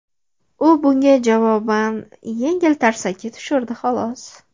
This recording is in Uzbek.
U bunga javoban, yengil tarsaki tushirdi, xolos.